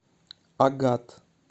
агат